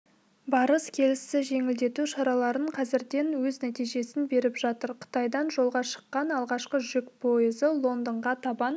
барыс-келісті жеңілдету шаралары қазірден өз нәтижесін беріп жатыр қытайдан жолға шыққан алғашқы жүк пойызы лондонға табан